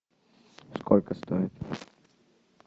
сколько стоит